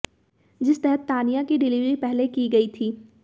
जिस तहत तानिया की डिलीवरी पहले की गई थी